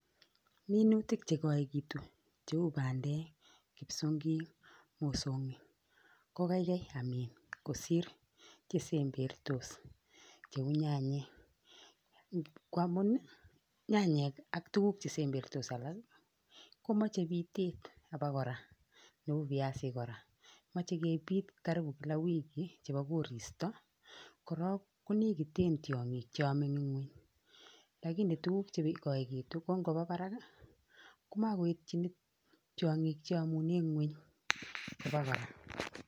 Minutik che koekitu cheu bandek, kipsongik, mosongik, ko kaikai kosir chesembertos, cheu nyanyek ngamun ii nyayek ak tuguk chesembertos komoche bitet kora cheu biasik, moche kebit karibu wiki chebo koristo, kora konekite tyongik che yome enn ngwony, lakini tuguk che koekitu ko ngoba barak ii ko maityin tyongik che yomunen ngwony abokora